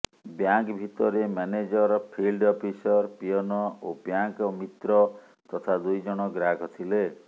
bank ଭିତରେ manager field officer peon ଓ bank ମିତ୍ର ତଥା ଦୁଇ ଜଣ ଗ୍ରାହକ ଥିଲେ